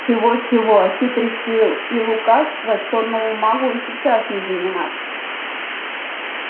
чего-чего а хитрости и лукавства чёрному магу и сейчас не занимать